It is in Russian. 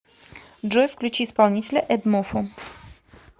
джой включи исполнителя эдмофо